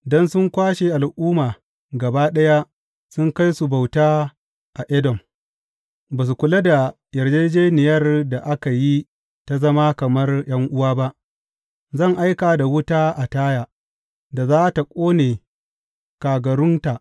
Don sun kwashe al’umma gaba ɗaya sun kai su bauta a Edom, ba su kula da yarjejjeniyar da aka yi ta zama kamar ’yan’uwa ba, zan aika da wuta a Taya, da za tă ƙone kagarunta.